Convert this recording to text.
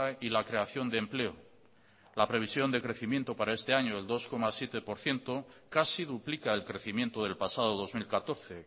y la creación de empleo la previsión de crecimiento para este año el dos coma siete por ciento casi duplica el crecimiento del pasado dos mil catorce